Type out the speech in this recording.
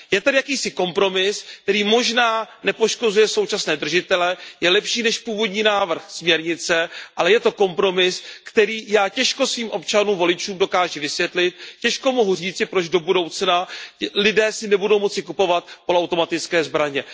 Je tady jakýsi kompromis, který možná nepoškozuje současné držitele, je lepší než původní návrh směrnice, ale je to kompromis, který já těžko svým občanům voličům dokáži vysvětlit, těžko mohu říci, proč do budoucna si lidé nebudou moci kupovat poloautomatické zbraně.